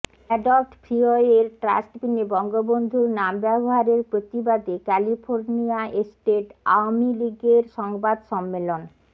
adopt ফ্রিওয়ের ট্রাস্টবিনে বঙ্গবন্ধুর নাম ব্যবহারের প্রতিবাদে ক্যালিফোর্নিয়া এস্টেট আওয়ামিলীগের সংবাদ সম্মেলন